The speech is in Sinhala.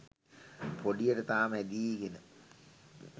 පොඩියට තාම හැදීගෙන.